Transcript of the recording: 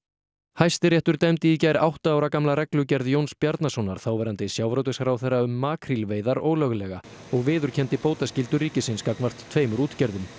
Hæstiréttur dæmdi í gær átta ára gamla reglugerð Jóns Bjarnasonar þáverandi sjávarútvegsráðherra um makrílveiðar ólöglega og viðurkenndi bótaskyldu ríkisins gagnvart tveimur útgerðum